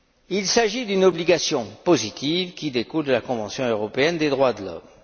soit. Il s'agit d'une obligation positive qui découle de la Convention européenne des droits de l'homme.